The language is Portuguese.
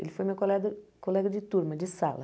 Ele foi meu colega colega de turma, de sala.